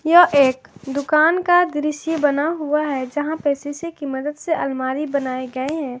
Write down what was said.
यह एक दुकान का दृश्य बना हुआ है जहां पे शीशे की मदद से अलमारी बनाए गए हैं।